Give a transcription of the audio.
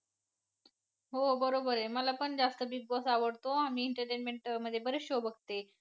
हो बरोबर आहे. मला पण जास्त Big Boss आवडतो. आणि entertainment मध्ये बरेच show बघते.